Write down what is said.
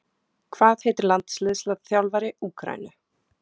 Hvað heitir landsliðsþjálfari Úkraínu?